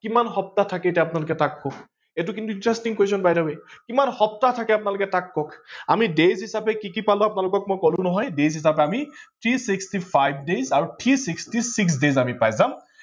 কিমান সপ্তাহ থাকে আপোনালোকে এতিয়া তাক কক, এইটো কিন্তু interesting question by the way কিমান সপ্তাহ থাকে আপোনালোকে তাক কক। আমি days হিচাপে কি কি পালো আপোনালোকে মই কলো নহয় days হিচাপে আমি three sixty five days আৰু three sixty six days আমি পাই যাম